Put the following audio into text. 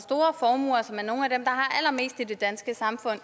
allermest i det danske samfund